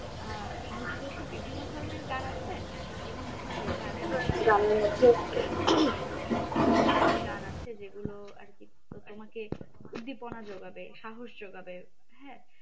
আহ নজরুলের তো বিভিন্ন ধরণের গান আছে বিভিন্ন ধরণের গানের কিছু ধরণের গান আছে যে গুলো আর কি তোমাকে উদ্দিপনা যোগাবে সাহস যোগাবে হ্যাঁ